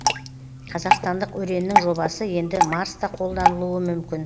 қазақстандық өреннің жобасы енді марста қолданылуы мүмкін